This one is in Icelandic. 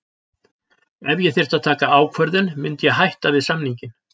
Ef ég þyrfti að taka ákvörðun myndi ég hætta við samninginn.